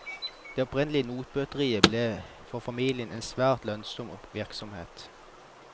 Det opprinnelige notbøteriet ble for familien en svært lønnsom virksomhet.